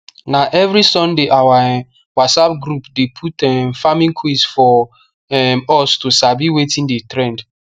na every sunday our um whatsapp group dey put um farming quiz for um us to sabi wetin dey trend